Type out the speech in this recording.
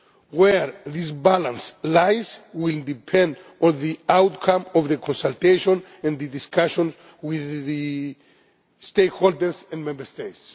Where this balance lies will depend on the outcome of the consultation and the discussions with the stakeholders and Member States.